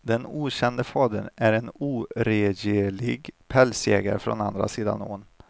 Den okände fadern är en oregerlig pälsjägare från andra sidan ån.